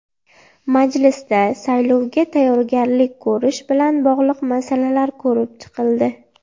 Majlisda saylovga tayyorgarlik ko‘rish bilan bog‘liq masalalar ko‘rib chiqildi.